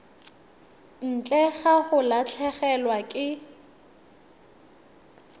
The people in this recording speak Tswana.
ntle ga go latlhegelwa ke